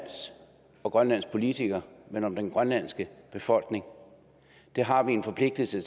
og grønlands politikere men om den grønlandske befolkning der har vi en forpligtelse